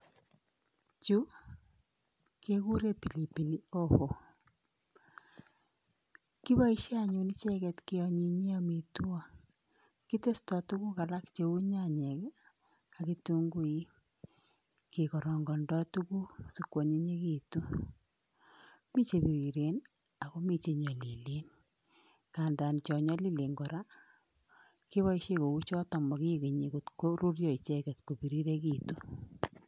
Chu kekuren pilipili hoho, kiboisien anyun icheket keanyinyie amitwo kitesto tuguk alak cheu nyanyek ak ketunguik kekarangondoi tuguk sikwonyinyekitun. Mi chebiriren ak komi chenyolilen ngandan chonyolilen kora keboisien kouchoton mokikenyi koruryo icheket kobirirekitun